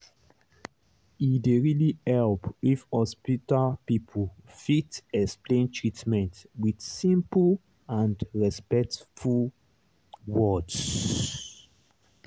e dey really help if hospital people fit explain treatment with simple and respectful words.